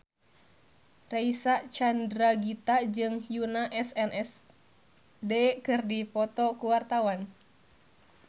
Reysa Chandragitta jeung Yoona SNSD keur dipoto ku wartawan